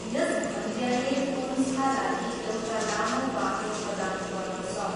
यस भन्ज्याङले पुन्छका लागि एउटा लामो बाटो प्रदान गर्दछ।